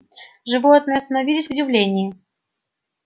животные остановились в удивлении